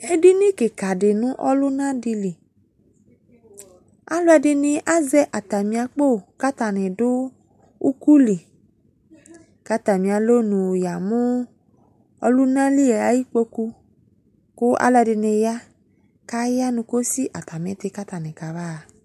Edini kika de no ɔluna de li Aluɛde ne azɛ atame akpo ka atane do ukoli, ka atame alɔnu ya mu ɔlunali aye kpoku , ko ɛlɛde ne ya, kaya no kosi atame te ka atane ka ba ha